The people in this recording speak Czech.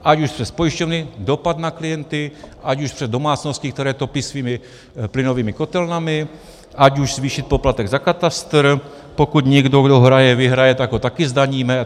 Ať už přes pojišťovny - dopad na klienty, ať už přes domácnosti, které topí svými plynovými kotelnami, ať už zvýšit poplatek za katastr, pokud někdo, kdo hraje, vyhraje, tak ho taky zdaníme.